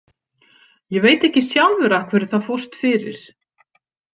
Ég veit ekki sjálfur af hverju það fórst fyrir.